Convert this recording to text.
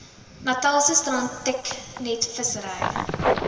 natalse strand treknetvissery